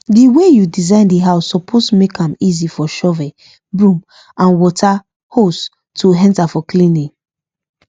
the way you design the house suppose make am easy for shovel broom and water hose to enter for cleaning